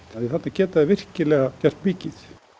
því þarna geta þeir virkilega gert mikið